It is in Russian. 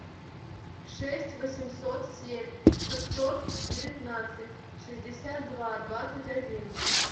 шесть восемьсот семь шестьсот девятнадцать шестьдесят два двадцать один